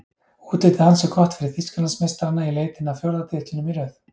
Útlitið ansi gott fyrir Þýskalandsmeistarana í leitinni að fjórða titlinum í röð.